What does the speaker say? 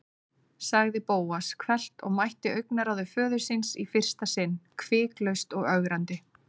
sagði Bóas hvellt og mætti augnaráði föður síns í fyrsta sinn, hviklaust og ögrandi.